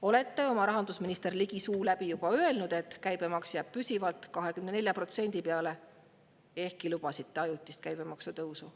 Olete oma rahandusministri Ligi suu läbi juba öelnud, et käibemaks jääb püsivalt 24% peale, ehkki lubasite ajutist käibemaksu tõusu.